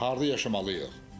Harda yaşamalıyıq?